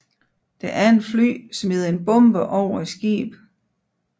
Det andet fly smider en bombe over skibet